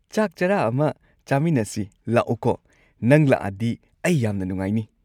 ꯆꯥꯛ ꯆꯔꯥ ꯑꯃ ꯆꯥꯃꯤꯟꯅꯁꯤ ꯂꯥꯛꯎꯀꯣ, ꯅꯪ ꯂꯥꯛꯑꯗꯤ ꯑꯩ ꯌꯥꯝꯅ ꯅꯨꯡꯉꯥꯏꯅꯤ꯫